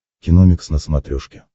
киномикс на смотрешке